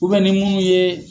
ni munnu ye